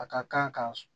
A ka kan ka